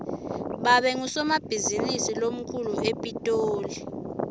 babe ngusomabhizinisi lomkhulu epitoli